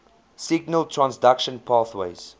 signal transduction pathways